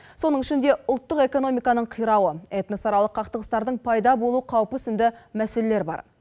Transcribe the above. соның ішінде ұлттық экономиканың қирауы этносаралық қақтығыстардың пайда болу қаупі сынды мәселелер бар